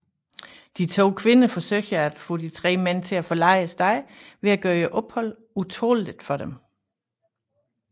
De to kvinder forsøger at få de tre mænd til at forlade stedet ved at gøre opholdet utåleligt for dem